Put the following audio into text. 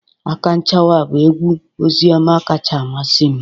Akanchawa bụ egwu ozioma kacha amasị m